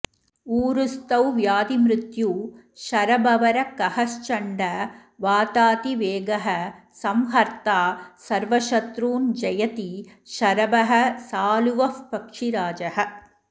ऊरूस्थौ व्याधिमृत्यू शरभवरखगश्चण्डवातातिवेगः संहर्ता सर्वशत्रून्स जयति शरभः सालुवःपक्षिराजः